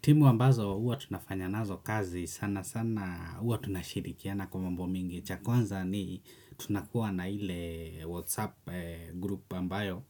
Timu ambazo huwa tunafanya nazo kazi sana sana huwa tunashirikiana kwa mambo mengi cha kwanza ni tunakuwa na ile whatsapp group ambayo